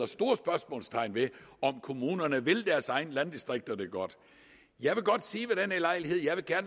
store spørgsmålstegn ved om kommunerne vil deres egne landdistrikter det godt jeg vil godt sige ved denne lejlighed at jeg